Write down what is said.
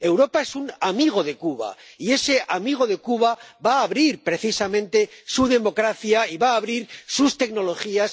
Europa es un amigo de Cuba y ese amigo de Cuba va a abrir precisamente su democracia y va a abrir sus tecnologías